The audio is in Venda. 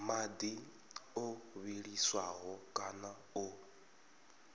madi o vhiliswaho kana o